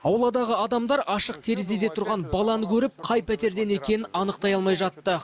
ауладағы адамдар ашық терезеде тұрған баланы көріп қай пәтерден екенін анықтай алмай жатты